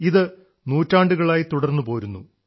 ഇത് നൂറ്റാണ്ടുകളായി തുടർന്നു പോരുന്നു